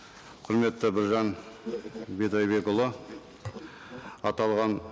құрметті біржан бидайбекұлы аталған